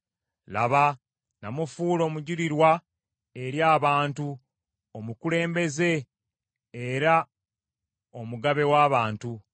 Laba namufuula omujulirwa eri abantu, omukulembeze era omugabe w’abantu.